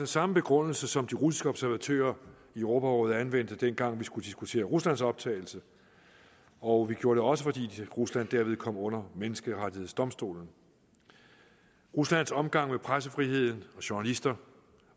samme begrundelse som de russiske observatører i europarådet anvendte dengang vi skulle diskutere ruslands optagelse og vi gjorde det også fordi rusland derved kom under menneskerettighedsdomstolen ruslands omgang med pressefriheden og journalister